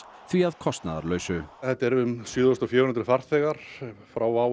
því að kostnaðarlausu þetta eru um sjö þúsund fjögur hundruð farþegar frá WOW